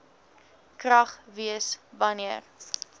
krag wees wanneer